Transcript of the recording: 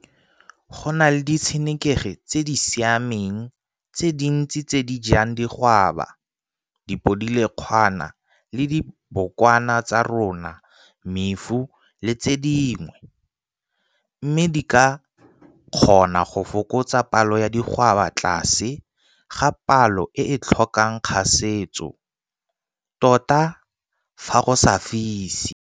Go na le ditsenekegi tse di siameng tse dintsi tse di jang digwaba, dipodilekgwana le dibokwana tsa tsona, mefu, le tse dingwe, mme di ka kgona go fokotsa palo ya digwaba tlase ga palo e e tlhokang kgasetso, tota fa go sa fise.